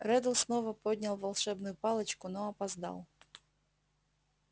реддл снова поднял волшебную палочку но опоздал